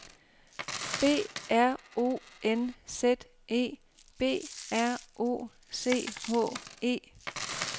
B R O N Z E B R O C H E